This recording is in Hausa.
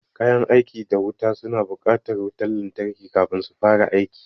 Kayan aiki da wuta suna buƙatar wutan lantarki kafin su fara aiki